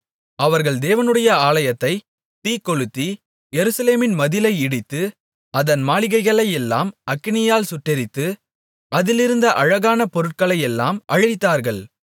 அவர்கள் தேவனுடைய ஆலயத்தைத் தீக்கொளுத்தி எருசலேமின் மதிலை இடித்து அதன் மாளிகைகளையெல்லாம் அக்கினியால் சுட்டெரித்து அதிலிருந்த அழகான பொருட்களையெல்லாம் அழித்தார்கள்